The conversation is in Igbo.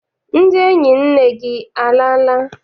Ndị enyi nne gị alala?